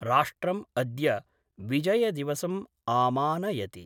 राष्ट्रम् अद्य विजयदिवसम् आमानयति।